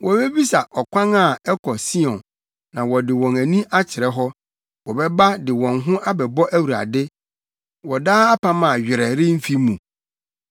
Wobebisa ɔkwan a ɛkɔ Sion na wɔde wɔn ani akyerɛ hɔ. Wɔbɛba de wɔn ho abɛbɔ Awurade wɔ daa apam a werɛ remfi mu.